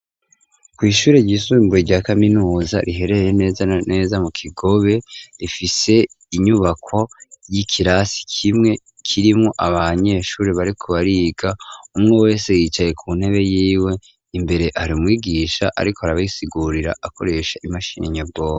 Kw'ishuri ryisumbuye rya kaminuza, riherereye neza neza mu Kigobe, rifise inyubako y'ikirasi kimwe, kirimwo abanyeshuri bariko bariga, umwe wese yicaye ku ntebe yiwe, imbere hari umwigisha, ariko arabasigurira akoresha imashini nyobwonko.